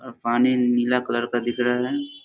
और पानी नीला कलर का दिख रहा है।